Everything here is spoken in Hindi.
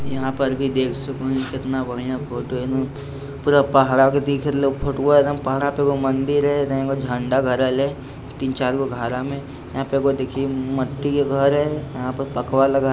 यहाँ पर भी देख सकों कितना बढ़िया फोटो है पूरा पहड़ा आगे दिख रहलौं फोटुआ एकदम पहड़ा पे एगो मंदिर है यहाँ एगो झंडा गाड़ल है तीन-चार गो घरा में। यहाँ पर एगो देखिए मट्टी के घर है। यहाँ पर पकवा वाला घर --